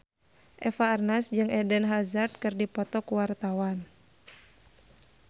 Eva Arnaz jeung Eden Hazard keur dipoto ku wartawan